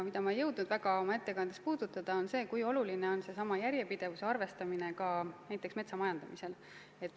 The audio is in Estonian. Seda ma ei jõudnud oma ettekandes eriti puudutada, kui oluline on järjepidevuse arvestamine ka metsamajandamisel.